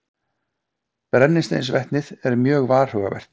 Brennisteinsvetnið er mjög varhugavert.